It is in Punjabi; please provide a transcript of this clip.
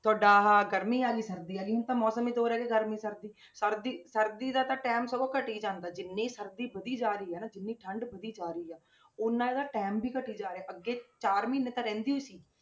ਤੁਹਾਡਾ ਆਹ ਗਰਮੀ ਆ ਗਈ ਸਰਦੀ ਆ ਗਈ, ਹੁਣ ਤਾਂ ਮੌਸਮ ਹੀ ਦੋ ਰਹਿ ਗਏ ਗਰਮੀ ਸਰਦੀ, ਸਰਦੀ, ਸਰਦੀ ਦਾ ਤਾਂ time ਸਗੋਂ ਘਟੀ ਜਾਂਦਾ, ਜਿੰਨੀ ਸਰਦੀ ਵਧੀ ਜਾ ਰਹੀ ਹੈ ਨਾ ਜਿੰਨੀ ਠੰਢ ਵਧੀ ਜਾ ਰਹੀ ਹੈ ਓਨਾ ਇਹਦਾ time ਵੀ ਘਟੀ ਜਾ ਰਿਹਾ ਅੱਗੇ ਚਾਰ ਮਹੀਨੇ ਤਾਂ ਰਹਿੰਦੀ ਸੀ।